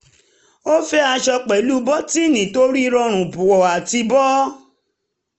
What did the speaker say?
ó fẹ́ aṣọ pẹ̀lú bọ́tíìnì torí rọrùn wọ̀ àti bọ́